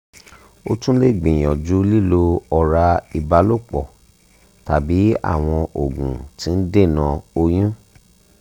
o tun le gbiyanju lilo ora ibalopo tabi awọn ogun ti n dena oyun um